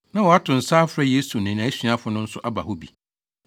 na wɔato nsa afrɛ Yesu ne nʼasuafo no nso aba hɔ bi.